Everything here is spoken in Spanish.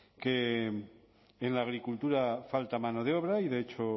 que en la agricultura falta mano de obra y de hecho